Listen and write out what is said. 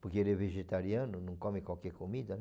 Porque ele é vegetariano, não come qualquer comida, né?